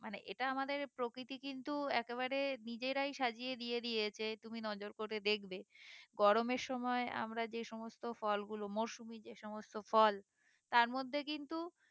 মানে এটা আমাদের প্রকৃতি কিন্তু একেবারে নিজেরাই সাজিয়ে দিয়ে দিয়েছে তুমি নজর করে দেখবে গরমের সময় আমরা যে সমস্ত ফলগুলো মৌসুমী যে সমস্ত ফল তার মধ্যে কিন্তু